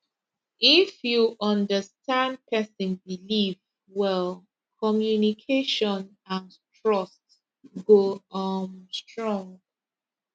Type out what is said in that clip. if you understand person belief well communication and trust go um strong